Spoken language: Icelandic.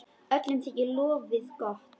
Öllum þykir lofið gott.